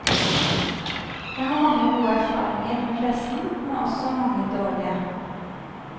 Jeg har mange gode erfaringer med pressen, men også mange dårlige.